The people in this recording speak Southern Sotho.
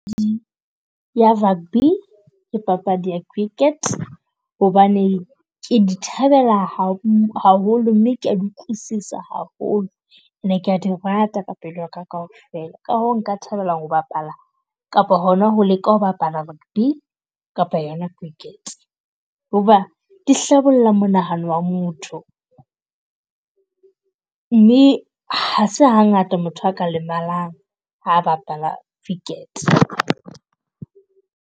Ya rugby ke papadi ke cricket hobane ke di thabela haholo, mme ke ya utlwisisa haholo and-e ka di rata ka pelo yaka kaofela. Ka hoo nka thabela ho bapala kapo hona ho leka ho bapala rugby kapa yona cricket. Ho ba di hlabolla monahano wa motho mme ha se hangata motho a ka lemalang ha a bapala cricket.